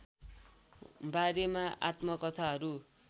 बारेमा आत्मकथाहरू